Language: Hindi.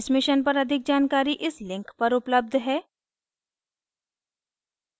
इस mission पर अधिक जानकारी इस link पर उपलब्ध है